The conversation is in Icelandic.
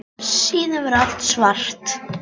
Síðan verður allt svart.